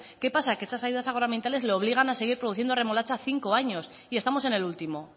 qué pasa que esas ayudas agroambientales le obligan a seguir produciendo remolacha cinco años y estamos en el último